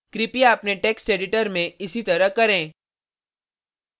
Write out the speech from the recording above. कृपया अपने text editor में इसी तरह करें